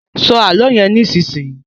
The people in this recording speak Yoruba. Sọ àlọ yén nísìsiyìí!